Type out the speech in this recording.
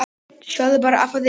Sjáðu bara afa þinn.